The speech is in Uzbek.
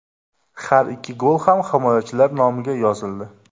Har ikki gol ham himoyachilar nomiga yozildi.